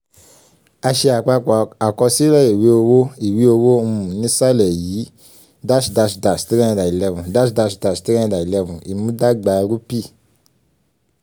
a ṣe àpapọ̀ àkọsílẹ̀ ìwé owó ìwé owó um nísàlẹ̀ um yìí: --- 311 um --- 311 ìmúdagbá rúpì.